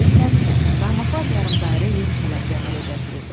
Beləliklə, qarmaqlar yarım dairə yem çələngi əmələ gətirirdi.